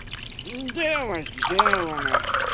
дело сделано